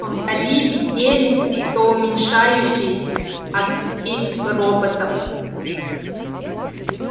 вдали виднелись все уменьшающиеся огоньки роботов